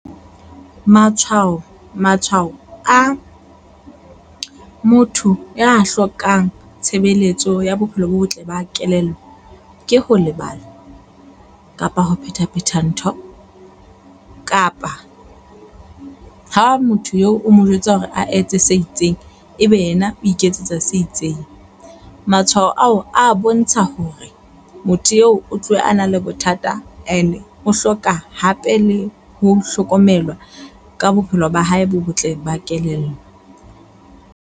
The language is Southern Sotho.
Matshwao matshwao a motho ya hlokang tshebeletso ya bophelo bo botle ba kelello ke ho lebala kapa ho phetha phetha ntho. Kapa ha motho eo o mo jwetsa hore a etse se itseng, ebe yena o iketsetsa se itseng. Matshwao ao a bontsha hore motho eo o tlohe a na le bothata and o hloka hape le ho hlokomelwa ka bophelo ba hae bo botle ba kelello.